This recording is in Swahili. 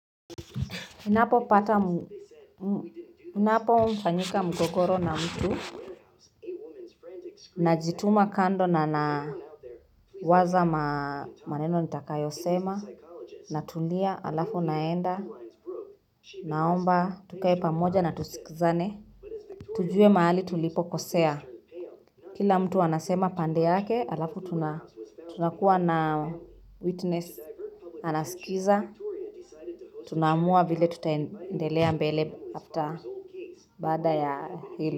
Ninapomfanyika mgogoro na mtu. Najituma kando nawaza maneno nitakayosema. Natulia, alafu naenda, naomba, tukae pamoja na tusikizane. Tujue mahali tulipokosea. Kila mtu anasema pande yake, alafu tunakuwa na witness. Anasikiza, tunaamua vile tutaendelea mbele after baada ya hilo.